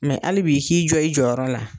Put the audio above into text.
Mɛ hali bi , ik'i jɔ i jɔyɔrɔ la.